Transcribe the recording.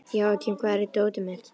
Jóakim, hvar er dótið mitt?